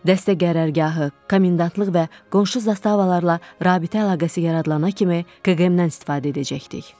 Dəstə qərargahı, komendantlıq və qonşu zastavalarla rabitə əlaqəsi yaradılana kimi KQM-dən istifadə edəcəkdik.